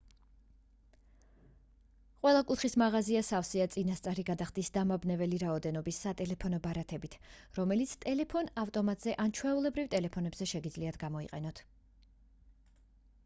ყველა კუთხის მაღაზია სავსეა წინასწარი გადახდის დამაბნეველი რაოდენობის სატელეფონო ბარათებით რომელიც ტელეფონ-ავტომატზე ან ჩვეულებრივ ტელეფონებზე შეგიძლიათ გამოიყენოთ